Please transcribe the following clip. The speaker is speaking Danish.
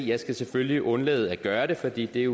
jeg skal selvfølgelig undlade at gøre det for det er